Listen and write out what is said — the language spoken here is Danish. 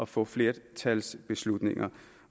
få flertalsbeslutninger